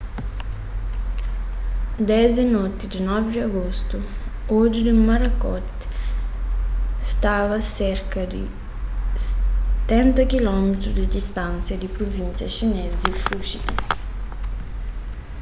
desdi noti di 9 di agostu odju di morakot staba serka di stenta kilómitru di distánsia di pruvínsia xinês di fujian